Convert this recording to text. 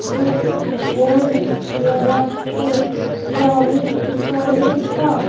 एक बोर्ड लगा है ब्राविंग स्टोरीज का।